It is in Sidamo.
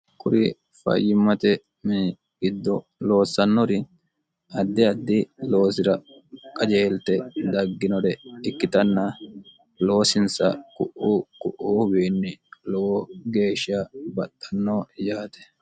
kuri fayyimmate mii giddo loossannori addi addi loosi'ra qajeelte dagginore ikkitanna loosinsa ku'uu qu'uuhuwiinni lowo geeshsha baxxanno yaate